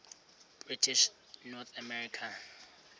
british north america